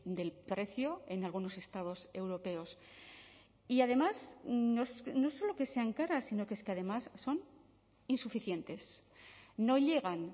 del precio en algunos estados europeos y además no solo que sean caras sino que es que además son insuficientes no llegan